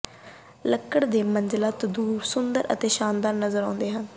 ਲੱਕੜ ਦੇ ਮੰਜ਼ਲਾ ਤੰਦੂਰ ਸੁੰਦਰ ਅਤੇ ਸ਼ਾਨਦਾਰ ਨਜ਼ਰ ਆਉਂਦੇ ਹਨ